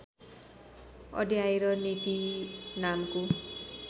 अड्याएर नेती नामको